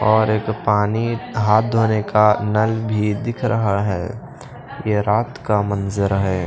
और एक पानी हाथ धोने का नल भी दिख रहा है ये रात का मंजर है।